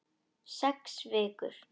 Sex vikur.